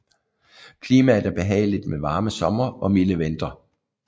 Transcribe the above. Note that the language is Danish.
Klimaet er behageligt med varme somre og milde vintre